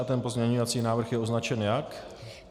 A ten pozměňovací návrh je označen jak?